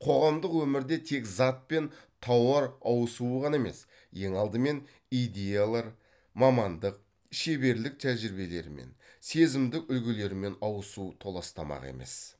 қоғамдық өмірде тек зат пен тауар ауысуы ғана емес ең алдымен идеялар мамандық шеберлік тәжірибелерімен сезімдік үлгілерімен ауысу толастамақ емес